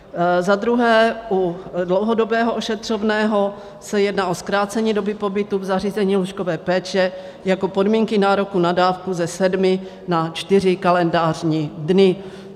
Za druhé, u dlouhodobého ošetřovného se jedná o zkrácení doby pobytu v zařízení lůžkové péče jako podmínky nároku na dávku ze sedmi na čtyři kalendářní dny.